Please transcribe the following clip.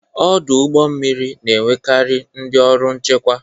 Ọdụ ụgbọ mmiri na-enwekarị ndị ọrụ nchekwa.